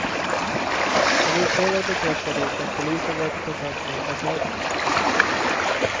En utredare bekräftar dock att polisen varit i kontakt med ambassaden.